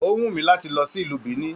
O wù mí láti lọ sí ìlú Benin.